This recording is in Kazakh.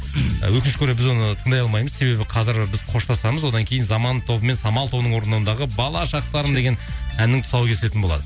өкінішке орай біз оны тыңдай алмаймыз себебі қазір біз қоштасамыз одан кейін заман тобы мен самал тобының орындауындағы бала шақтарым деген әннің тұсауы кесілетін болады